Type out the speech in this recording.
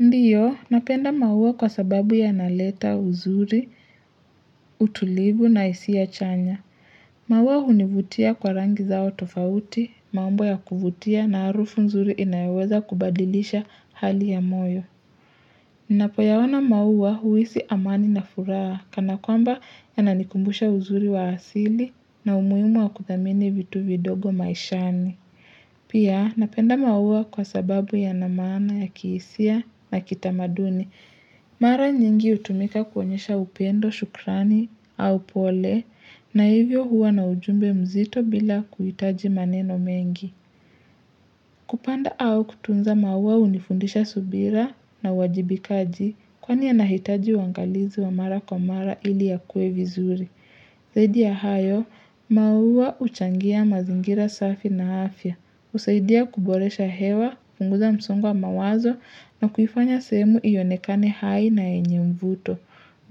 Ndiyo, napenda maua kwa sababu yanaleta uzuri, utulivu na hisi a chanya. Maua hunivutia kwa rangi zao tofauti, maumbo ya kuvutia na harufu nzuri inayeweza kubadilisha hali ya moyo. Ninapoyaona mauwa huisi amani na furaha kana kwamba yananikumbusha uzuri wa asili na umuhimu wa kuthamini vitu vidogo maishani. Pia napenda maua kwa sababu yana maana ya kihisia na kitamaduni. Mara nyingi hutumika kuonyesha upendo shukrani au pole na hivyo huwa na ujumbe mzito bila kuhitaji maneno mengi. Kupanda au kutunza maua unifundisha subira na uwajibikaji kwani yanahitaji uwangalizi wa mara kwa mara ili yakuwe vizuri. Zaidi ya hayo, maua uchangia mazingira safi na afya. Usaidia kuboresha hewa, kupunguza msongo wa mawazo na kuifanya sehemu ionekane hai na yenye mvuto.